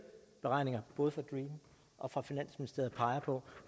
beregninger både fra dream og fra finansministeriet peger på